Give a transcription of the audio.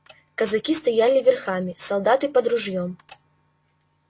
казаки стояли верхами солдаты под ружьём